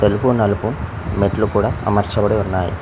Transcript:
తెలుపు నలుపు మెట్లు కూడా అమర్చబడి ఉన్నాయ్.